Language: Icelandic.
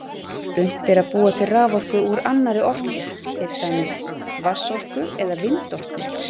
Unnt er að búa til raforku úr annarri orku, til dæmis vatnsorku eða vindorku.